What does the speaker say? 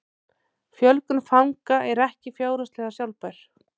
Fjölgun fanga er ekki fjárhagslega sjálfbær